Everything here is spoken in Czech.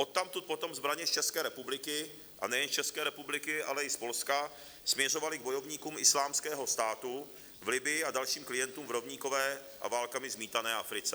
Odtamtud potom zbraně z České republiky - a nejen z České republiky, ale i z Polska - směřovaly k bojovníkům Islámského státu v Libyi a dalším klientům v rovníkové a válkami zmítané Africe.